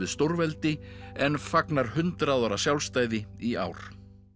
stórveldi en fagnar hundrað ára sjálfstæði í ár